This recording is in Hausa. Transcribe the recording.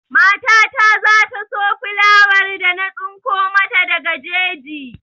Mata ta za ta so filawar da na tsinko mata daga jeji.